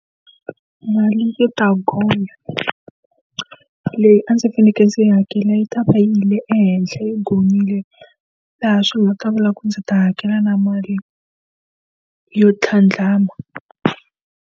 Mali yi ta gonya, leyi a ndzi fanekele ndzi yi hakela yi ta va yile ehenhla yo gonyile. Laha swi nga ta vula ku ndzi ta hakela na mali yo tlhandlama.